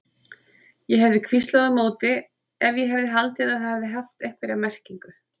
Ég hefði hvíslað á móti ef ég hefði haldið að það hefði haft einhverja merkingu.